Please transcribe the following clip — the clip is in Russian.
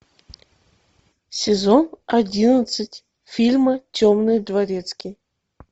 сезон одиннадцать фильма темный дворецкий